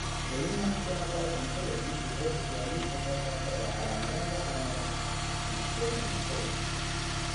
The Human Phenotype Ontology wuxuu bixiyaa liiska soo socda ee calaamadaha iyo calaamadaha Dystonia kow.